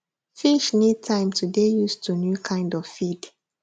fish need time to dey use to new kind of feed